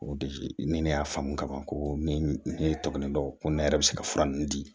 O de ni ne y'a faamu ka ban ko min ye tɔmɔnen don ko ne yɛrɛ bɛ se ka fura ninnu di